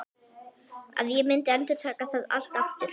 Að ég myndi endurtaka það allt aftur?